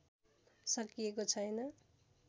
सकिएको छैन